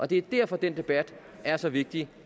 det er derfor at den debat er så vigtig